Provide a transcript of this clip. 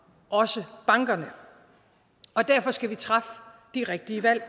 også bankerne og derfor skal vi træffe de rigtige valg